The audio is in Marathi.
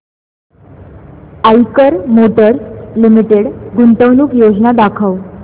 आईकर मोटर्स लिमिटेड गुंतवणूक योजना दाखव